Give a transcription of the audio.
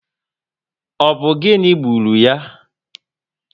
Ọ bụ gịnị gburu ya?